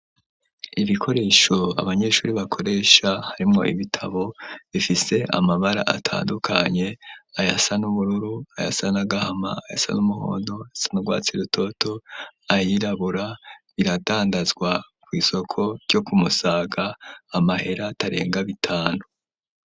Ibikoresho abanyeshuri bakoresha harimwo ibitabo bifise amabara atandukanye ayasan'ubururu ayasanagahama ayasa n'umuhondo ayasa n'urwatsi rutoto ayirabura biradandazwa ku isoko ryo kumusaga amahera atarenga bitanu.